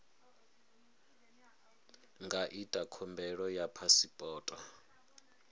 nga ita khumbelo ya phasipoto